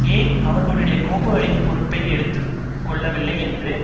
ஏன் அவர்களுடைய கோப்புக்களின் பொறுப்பை எடுத்து கொள்ளவில்லை என்று